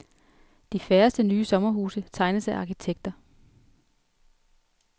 De færreste nye sommerhuse tegnes af arkitekter.